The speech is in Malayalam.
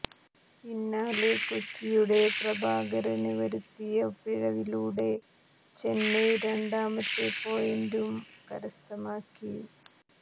പിന്നാലെ കൊച്ചിയുടെ പ്രഭകരന് വരുത്തിയ പിഴവിലുടെ ചെന്നൈ രണ്ടാമത്തെ പോയിന്റും കരസ്ഥമാക്കി